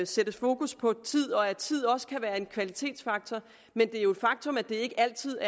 sættes fokus på tid og at tid også kan være en kvalitetsfaktor men det er jo et faktum at det ikke altid